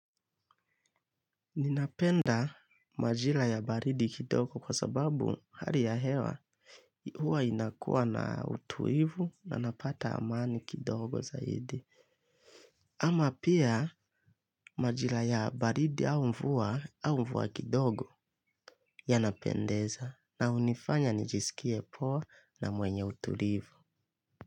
Ninapenda majira ya baridi kidogo kwa sababu hali ya hewa huwa inakuwa na utulivu na napata amani kidogo zaidi. Ama pia majira ya baridi au mvua au mvua kidogo yanapendeza na hunifanya nijisikie poa na mwenye utulivu.